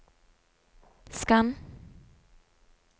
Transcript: skann